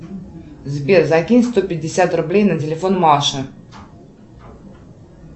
сбер закинь сто пятьдесят рублей на телефон маши